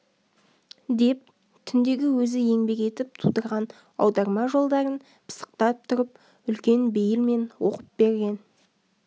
деп түндегі өзі еңбек етіп тудырған аударма жолдарын пысықтап тұрып үлкен бейілмен оқып берген